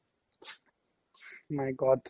my god